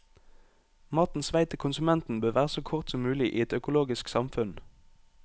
Matens vei til konsumenten bør være så kort som mulig i et økologisk samfunn.